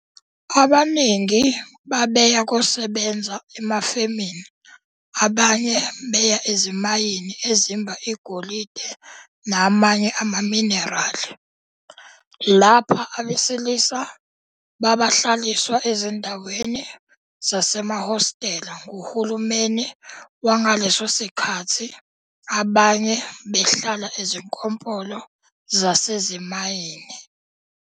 Abaningi babeya kosebenza emafemini abanye beya ezimayini ezimba igolide namanye amaminerali, lapha abesilisa babahlaliswa ezindaweni zasemahostela nguhulumeni wangeleso sikhathi abanye behlala ezikompolo zasezimanyini.